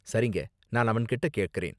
சரிங்க, நான் அவன்கிட்ட கேக்கறேன்.